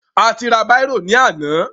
A ti ra bírò ní àná.